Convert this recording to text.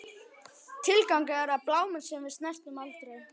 Tilgangur, er það bláminn sem við snertum aldrei?